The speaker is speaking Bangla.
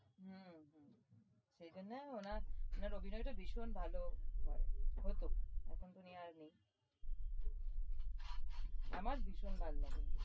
হম সেই জন্যে উনার উনার অভিনয়টা ভীষণ ভাল হয় হতো এখন তো উনি আর নেই আমার ভীষণ ভাল লাগে